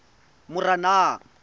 moranang